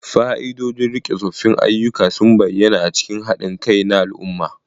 Fa'idodin riƙe tsoffin ayyuka sun bayyana a cikin haɗin kai na al'umma.